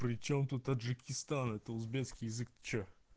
причём тут таджикистан это узбекский язык что